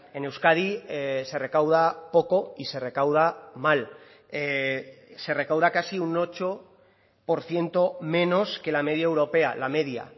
en euskadi se recauda poco y se recauda mal se recauda casi un ocho por ciento menos que la media europea la media